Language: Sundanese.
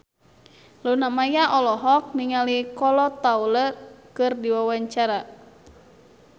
Luna Maya olohok ningali Kolo Taure keur diwawancara